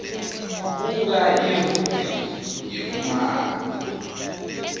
buka irubhriki yekumaka